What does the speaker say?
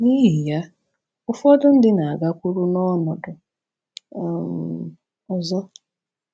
N’ihi ya, ụfọdụ ndị na-agakwuru n’ọnọdụ um ọzọ.